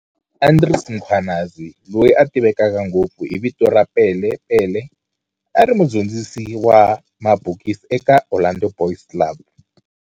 Andries Mkhwanazi, loyi a tiveka ngopfu hi vito ra Pele Pele, a ri mudyondzisi wa mabokisi eka Orlando Boys Club.